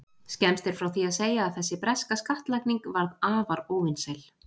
Skemmst er frá því að segja að þessi breska skattlagning varð afar óvinsæl.